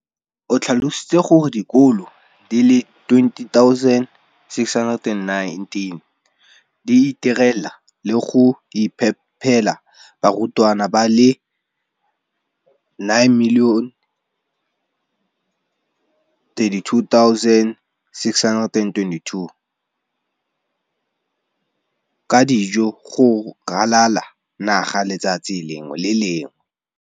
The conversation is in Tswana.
o tlhalositse gore dikolo di le 20 619 di itirela le go iphepela barutwana ba le 9 032 622 ka dijo go ralala naga letsatsi le lengwe le le lengwe.